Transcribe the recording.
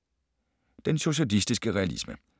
Den socialistiske realisme